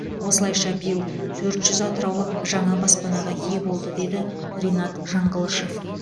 осылайша биыл төрт жүз атыраулық жаңа баспанаға ие болды деді ринат жаңғылышов